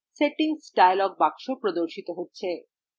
settings dialog box প্রদর্শিত হয়